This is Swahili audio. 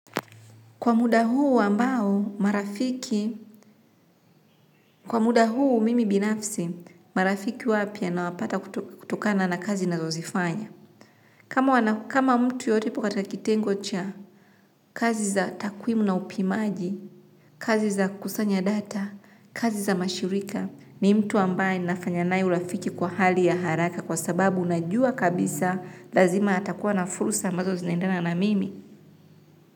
Kwa muda huu ambao marafiki, kwa muda huu mimi binafsi, marafiki wapya nawapata kutokana na kazi ninazozifanya. Kama mtu yeyote yupo katika kitengo cha kazi za takwimu na upimaji, kazi za kusanya data, kazi za mashirika, ni mtu ambaye ninafanya naye urafiki kwa hali ya haraka kwa sababu najua kabisa lazima atakuwa na fursa ambazo zinaendana na mimi.